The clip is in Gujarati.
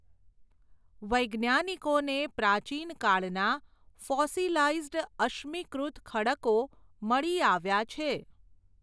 વૈજ્ઞાાનિકોને પ્રાચીન કાળનાં ફોસીલાઈઝડ અશ્મીકૃત ખડકો મળી આવ્યા છે.